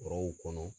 Forow kɔnɔ